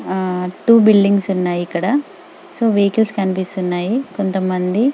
ఆహ్ two buildings ఉన్నాయ్ ఇక్కడ సో వైకిల్స్ కనిపిస్తున్నాయి కొంతమంది --